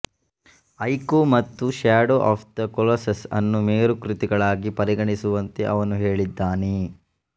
ಐಕೋ ಮತ್ತು shadow of the Colossus ಅನ್ನು ಮೇರುಕೃತಿಗಳಾಗಿ ಪರಿಗಣಿಸುವಂತೆ ಅವನು ಹೇಳಿದ್ದಾನೆ